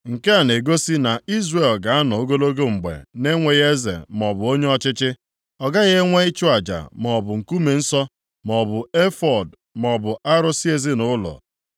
Nke a na-egosi na Izrel ga-anọ ogologo mgbe na-enweghị eze maọbụ onye ọchịchị. Ọ gaghị enwe ịchụ aja maọbụ nkume nsọ maọbụ efọọd maọbụ arụsị ezinaụlọ.